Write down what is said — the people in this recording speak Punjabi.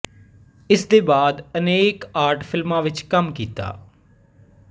ਇਸ ਦੇ ਬਾਅਦ ਅਨੇਕ ਆਰਟ ਫ਼ਿਲਮਾਂ ਵਿੱਚ ਕੰਮ ਕੀਤਾ